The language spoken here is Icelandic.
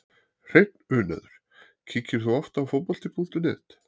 Hreinn unaður Kíkir þú oft á Fótbolti.net?